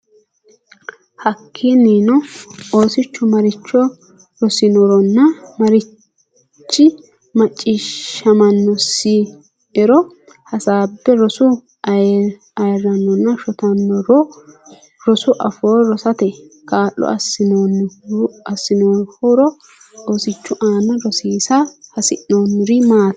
Hakkiinnino, oosichu maricho rosinoronna marichi macciishshaminosi(e)ro hasaabbe: Rosu ayirrinoronna shotinoro Rosu afoo rosate kaa’lo assannohoro Oosichu aane rosara hasi’rannori maatiro.